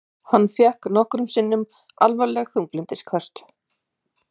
Hann fékk nokkrum sinnum alvarleg þunglyndisköst.